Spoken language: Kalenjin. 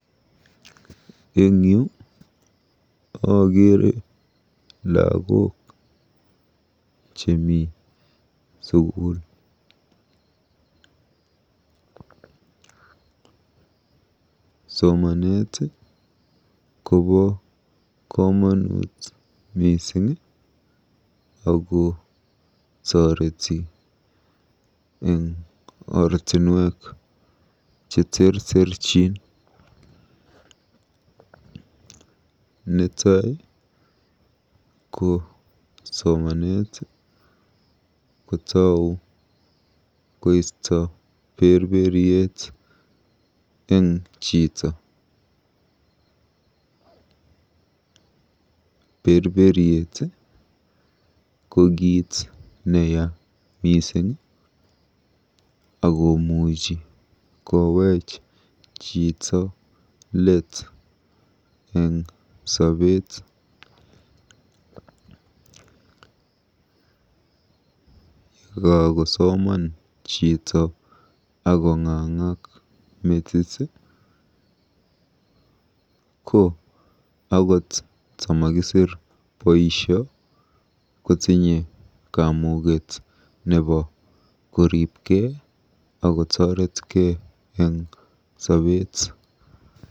Eng yu akeere lagok chemi sukul. Somanet kobo komonut mising ako toreti eng ortinwek cheterterchin. Netai ko somanet kotou koisto berberiet eng chito. Berberiet ko kiit neya mising akomuchi koweech chito leet eng sobeet. Yekakosoman chito akong'ang'ak metit ko akot tamakisir boisio kotinye kamuket nebo koribkei akotoretkei eng sobeet.